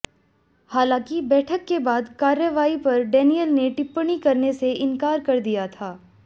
हालांकि बैठक के बाद कार्यवाही पर डेनियल ने टिप्पणी करने से इनकार कर दिया था